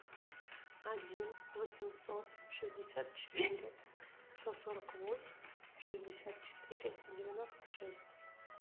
один восемьсот шестьдесят четыре сто сорок восемь шестьдесят четыре девяносто шесть